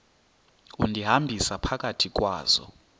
undihambisa phakathi kwazo